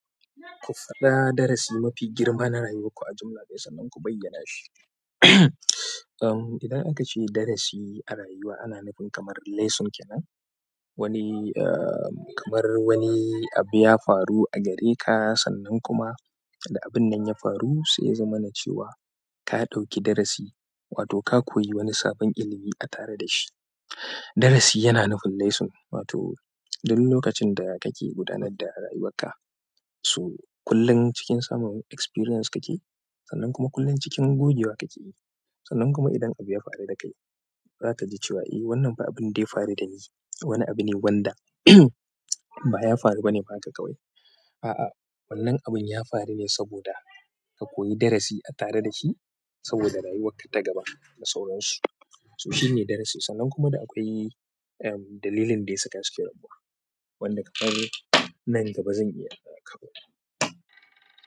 Ku faɗa dara si mafi girma kuma ku bayyana shi um, idan aka ce darasi a rayuwa ana nufin kamar lesson kenan. Wani, um, kamar wani abu ya faru a gare ka sannan kuma da abun nan ya faru sai ya zama na cewa. Ka ɗauki darasi wato ka koyi wani sabon ilimi a tare da shi. Darasi yana nufin lesson, wato duk lokacin da kake gudanar da rayuwarka, so kullum cikin samun experience kake yi, sannan kuma kullum cikin gogewa kake yi. Sannan kuma idan abu ya faru da kai zaka ji cewa eh wannan fa abun da ya faru da ni, wani abu ne wanda ba ya faru ba ne haka ka wai. A'a wannan abun ya faru ne saboda ka koyi darasi a tare da shi saboda rayuwar ka ta gaba da sauransu. To shine darasin, sannan kuma da akwai am dalilin ɗaya saka suke rabuwa wanda kamar nan gaba zan iya kawota.